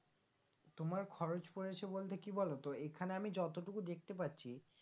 তোমার খরচ পড়েছে বলতে কি বলো তো এখানে আমি যতটুকু দেখতে পারছি